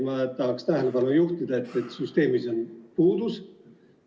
Ma tahaksin tähelepanu juhtida, et süsteemis on selline puudus.